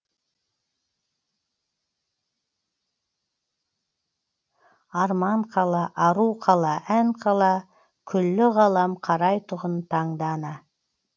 арман қала ару қала ән қала күллі ғалам қарайтұғын таңдана